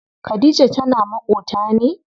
Khadija tana maƙota ne?